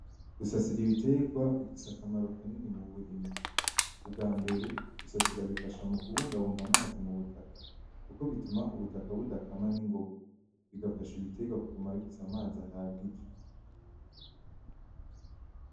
Gusasira ibiterwa bifise akamaro kanini mu burimyi. Ubwambere gusasira bifasha mu kubungabunga amazi mu butaka kuko bituma ubutaka budakama ningoga bigafasha ibiterwa biguma bifise amazi ahagije.